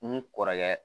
N kɔrɔkɛ